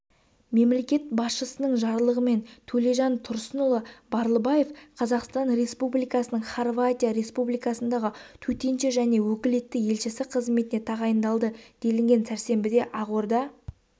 мемлекет басшысының жарлығымен төлежан тұрсынұлы барлыбаев қазақстан республикасының хорватия республикасындағы төтенше және өкілетті елшісі қызметіне тағайындалды делінген сәрсенбіде ақорда